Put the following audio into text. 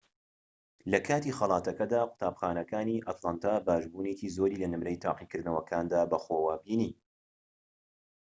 لەکاتی خەڵاتەکەدا قوتابخانەکانی ئەتلانتا باشبوونێکی زۆری لە نمرەی تاقیکردنەوەکاندا بەخۆوە بینی